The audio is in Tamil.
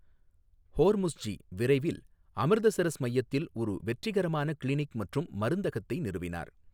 ஹோர்முஸ்ஜி விரைவில் அமிர்தசரஸ் மையத்தில் ஒரு வெற்றிகரமான கிளினிக் மற்றும் மருந்தகத்தை நிறுவினார்.